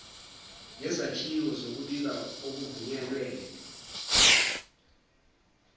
ngezakhiwo zokubika okuvunyelwene